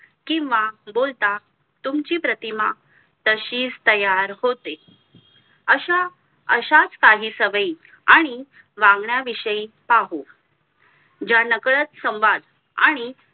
किंवा बोलता तुमची प्रतिमा तशीच तयार होते अशा अशाच काही सवयी आणि वागण्या विषयी पाहू ज्या नकळत संवाद आणि